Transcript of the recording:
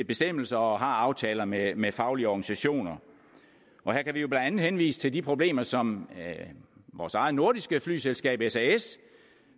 bestemmelser og har aftaler med med faglige organisationer her kan vi blandt andet henvise til de problemer som vores eget nordiske flyselskab sas